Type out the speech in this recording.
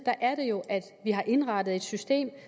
har indrettet et system